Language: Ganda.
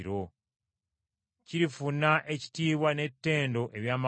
Kirifuna ekitiibwa n’ettendo eby’amawanga.